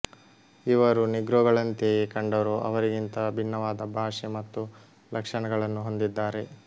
ಇವರು ನೀಗ್ರೊಗಳಂತೆಯೇ ಕಂಡರೂ ಅವರಿಗಿಂತ ಭಿನ್ನವಾದ ಭಾಷೆ ಮತ್ತು ಲಕ್ಷಣಗಳನ್ನು ಹೊಂದಿದ್ದಾರೆ